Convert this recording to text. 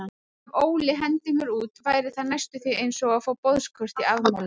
Ef Óli hendir mér út væri það næstum því einsog að fá boðskort í afmælið.